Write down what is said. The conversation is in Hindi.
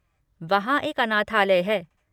वहाँ एक अनाथालय है।